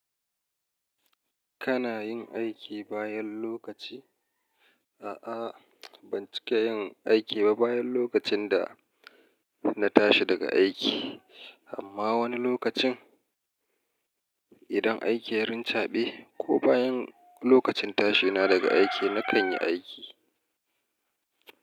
Kana yin aiki bayan lokaci? A'a ban cika yin aiki ba bayan lokacin da na tashi daga aiki, amma wani lokacin idan aikin ya rincaɓe ko bayan lokacin tashe na daga aiki na kan yi aiki.